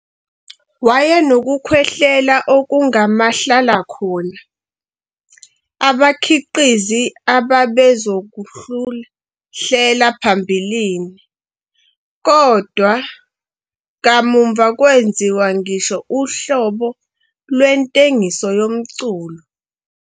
Wayenokukhwehlela okungamahlalakhona, abakhiqizi ababezokuhlela phambilini, kodwa kamuva kwenziwa uhlobo lwentengiso yomculo.